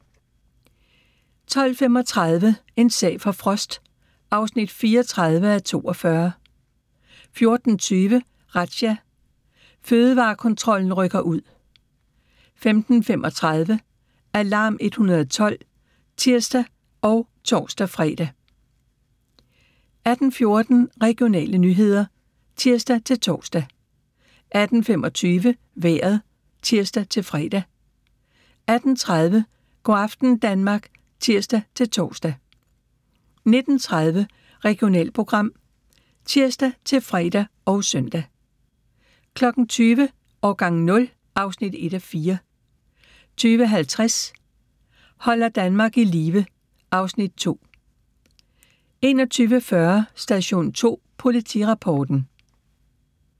12:35: En sag for Frost (34:42) 14:20: Razzia – Fødevarekontrollen rykker ud 15:35: Alarm 112 (tir og tor-fre) 18:14: Regionale nyheder (tir-tor) 18:25: Vejret (tir-fre) 18:30: Go' aften Danmark (tir-tor) 19:30: Regionalprogram (tir-fre og søn) 20:00: Årgang 0 (1:4) 20:50: Holder Danmark i live (Afs. 2) 21:40: Station 2 Politirapporten